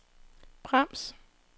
brems